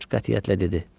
Corc qətiyyətlə dedi.